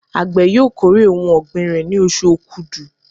Àgbẹ̀ yóò kórè ohun ọ̀gbìn rẹ̀ ní oṣù Okudu.